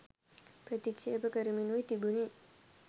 ප්‍රතික්ෂේප කරමිනුයි තිබුණේ.